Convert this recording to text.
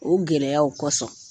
O gɛlɛyaw kosɔn